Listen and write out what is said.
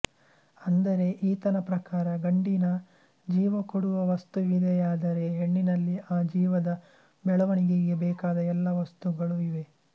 ಅಂದರೆ ಈತನ ಪ್ರಕಾರ ಗಂಡಿನ ಜೀವ ಕೊಡುವ ವಸ್ತುವಿದೆಯಾದರೆ ಹೆಣ್ಣಿನಲ್ಲಿ ಆ ಜೀವದ ಬೆಳವಣಿಗೆಗೆ ಬೇಕಾದ ಎಲ್ಲ ವಸ್ತುಗಳೂ ಇವೆ